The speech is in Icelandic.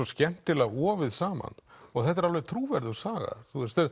skemmtilega ofið saman og þetta er alveg trúverðug saga